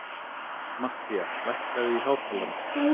Matthía, lækkaðu í hátalaranum.